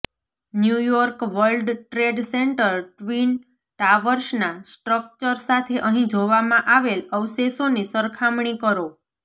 new York world trade center twin ટાવર્સના structure સાથે અહીં જોવામાં આવેલ અવશેષોની સરખામણી કરો